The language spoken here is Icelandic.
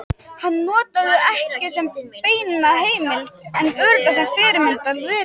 Hann notaði þau ekki sem beina heimild en örugglega sem fyrirmynd að riti sínu.